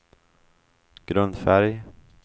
grundfärg